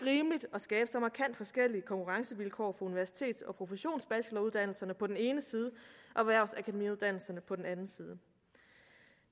at skabe så markant forskellige konkurrencevilkår for universitets og professionsbacheloruddannelserne på den ene side og erhvervsakademiuddannelserne på den anden side